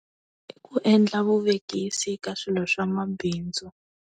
I ku endla vuvekisi eka swilo swa mabindzu.